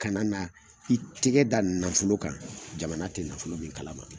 Ka na na i tigɛ da nafolo kan jamana ti nafolo min kalama.